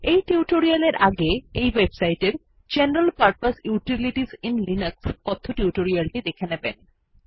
এই টিউটোরিয়াল এর আগে এই ওয়েবসাইট এর general purpose utilities in Linux কথ্য টিউটোরিয়ালটি দেখে নেবেন